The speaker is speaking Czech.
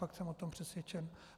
Fakt jsem o tom přesvědčen.